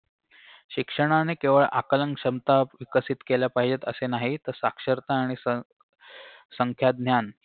शिक्षणाने केवळ आकलन क्षमता विकसित केल्या पाहिजेत असे नाही तर साक्षरता आणि सं संख्याज्ञान